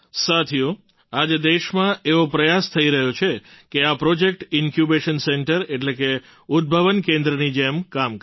સાથીઓ આજે દેશમાં એવો પ્રયાસ થઈ રહ્યો છે કે આ પ્રૉજેક્ટ ઇન્ક્યુબેશન સેન્ટર એટલે કે ઉદ્ભવન કેન્દ્રની જેમ કામ કરે